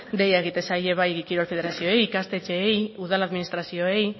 deia egiten zaie bai kirol federazioei ikastetxeei udal administrazioei